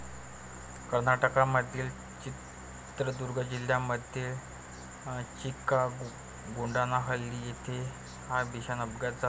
कर्नाटकमधील चित्रदुर्ग जिल्ह्यामध्ये चिकागोडानाहल्ली येथे हा भीषण अपघात झाला.